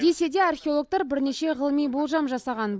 десе де археологтар бірнеше ғылыми болжам жасаған